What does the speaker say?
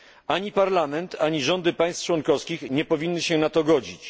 Ani Parlament, ani rządy państw członkowskich nie powinny się na to godzić.